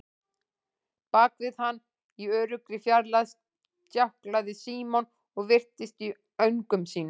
Bak við hann, í öruggri fjarlægð, stjáklaði Símon og virtist í öngum sínum.